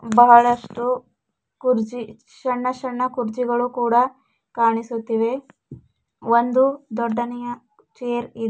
ಬಹಳಷ್ಟು ಕುರ್ಚಿ ಶಣ್ಣ ಶಣ್ಣ ಕುರ್ಚಿಗಳು ಕೂಡ ಕಾಣಿಸುತ್ತಿವೆ ಒಂದು ದೊಡ್ಡನೆಯ ಚೇರ್ --